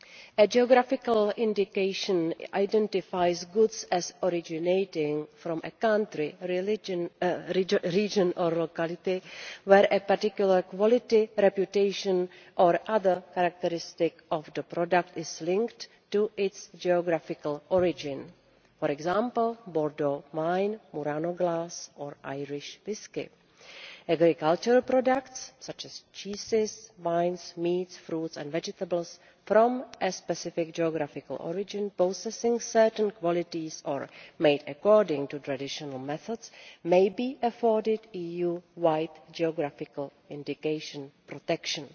A geographical indication identifies goods as originating from a country, region or locality where a particular quality, reputation or other characteristic of the product is linked to its geographical origin for example, Bordeaux wine, Murano glass or Irish whiskey. Agriculture products such as cheeses, wines, meats, fruits and vegetables from a specific geographical origin, possessing certain qualities or made according to traditional methods, may be afforded EU wide geographical indication protection.